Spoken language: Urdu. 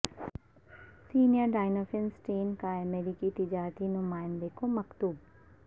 سینئر ڈائنافین اسٹین کا امریکی تجارتی نمائندہ کو مکتوب